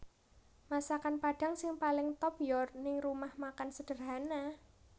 Masakan Padang sing paling top yo ning Rumah Makan Sederhana